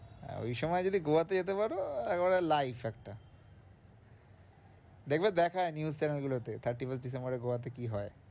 হ্যাঁ, ওই সময় যদি গোয়াতে যেতে পারো একেবারে life একটা দেখবে দেখায় news channel গুলোতে thirty-first ডিসেম্বরে গোয়াতে কি হয়?